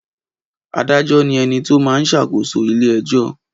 Adájọ́ ni ẹni tó máa n ṣàkóso ilé ẹjọ́